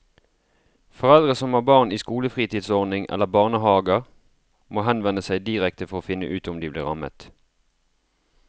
Foreldre som har barn i skolefritidsordning eller barnehaver må henvende seg direkte for å finne ut om de blir rammet.